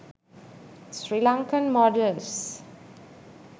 srilankan modals